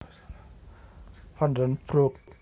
Van den Broek